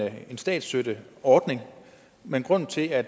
statsstøtteordning men grunden til at